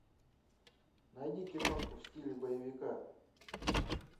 найди киношку в стиле боевика